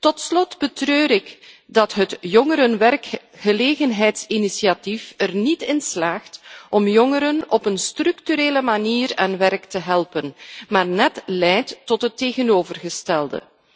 Tot slot betreur ik dat het jongerenwerkgelegenheidsinitiatief er niet in slaagt om jongeren op een structurele manier aan werk te helpen maar net leidt tot het tegenovergestelde.